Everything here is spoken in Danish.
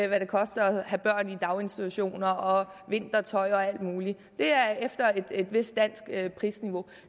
hvad det koster at have børn i daginstitutioner og vintertøj og alt muligt det er efter et vist dansk prisniveau